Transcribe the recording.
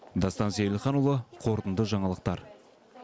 дастан сейілханұлы қорытынды жаңалықтар